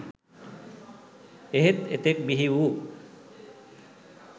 එහෙත් එතෙක් බිහිවූ